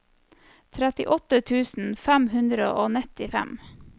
trettiåtte tusen fem hundre og nittifem